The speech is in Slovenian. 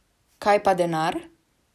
Kaj pa denar?